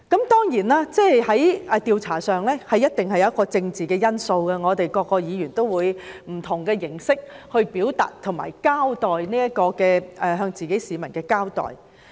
當然，調查工作一定會有政治因素，每位議員都會以不同的形式表達，以及向自己的選民交代。